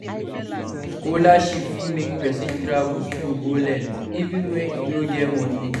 Scholarship fit make pesin travel abroad go learn, even when e no get money